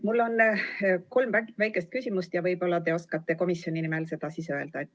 Mul on kolm väikest küsimust ja võib-olla te oskate komisjoni nimel neile vastata.